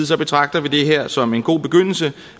så betragter vi det her som en god begyndelse